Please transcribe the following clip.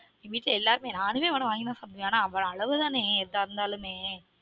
வீட்ல எல்லாருக்குமே நானுமே வட வாங்கி தான் சாப்டுவேன் ஆனா ஒரு அளவு தானே எதா இருந்தாலுமே